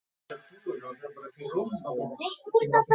Tina og Linda.